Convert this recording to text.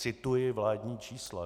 Cituji vládní čísla.